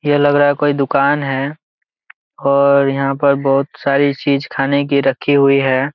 यह लग रहा कोई दुकान है और यहाँ पर बहुत सारी चीज खाने की रखी है।